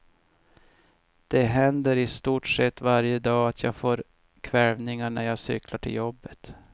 Det händer i stort sett varje dag att jag får kväljningar när jag cyklar till jobbet.